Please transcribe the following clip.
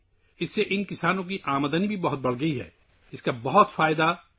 جس کی وجہ سے ان کسانوں کی آمدنی میں بھی کافی اضافہ ہوا ہے